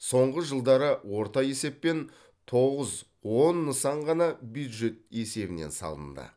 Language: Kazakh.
соңғы жылдары орта есеппен тоғыз он нысан ғана бюджет есебінен салынды